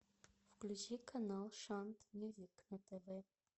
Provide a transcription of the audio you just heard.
включи канал шант мьюзик на тв